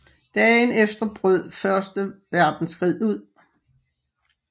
Dagen efter brød første verdenskrig ud